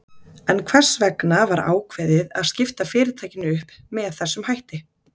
En hvers vegna var ákveðið að skipta fyrirtækinu upp með þessum hætti?